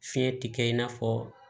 Fiɲɛ ti kɛ i n'a fɔ